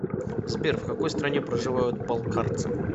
сбер в какой стране проживают балкарцы